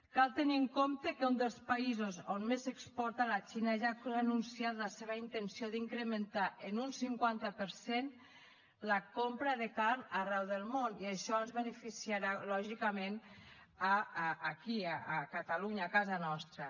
cal tenir en compte que un dels països on més s’exporta la xina ja ha anunciat la seva intenció d’incrementar en un cinquanta per cent la compra de carn arreu del món i això ens beneficiarà lògicament aquí a catalunya a casa nostra